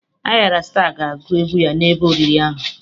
Ayra Staa ga-agụ egwu ya n'ebe oriri ahụ.